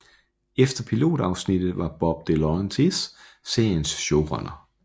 Efter pilot afsnittet var Bob DeLaurentis seriens showrunner